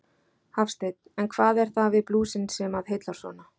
Hafsteinn: En hvað er það við blúsinn sem að heillar svona?